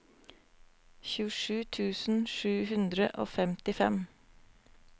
tjuesju tusen sju hundre og femtifem